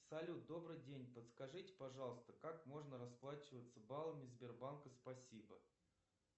салют добрый день подскажите пожалуйста как можно расплачиваться баллами сбербанка спасибо